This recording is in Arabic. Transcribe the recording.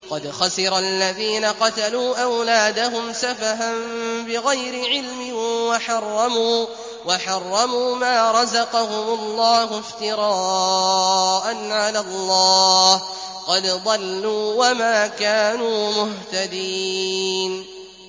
قَدْ خَسِرَ الَّذِينَ قَتَلُوا أَوْلَادَهُمْ سَفَهًا بِغَيْرِ عِلْمٍ وَحَرَّمُوا مَا رَزَقَهُمُ اللَّهُ افْتِرَاءً عَلَى اللَّهِ ۚ قَدْ ضَلُّوا وَمَا كَانُوا مُهْتَدِينَ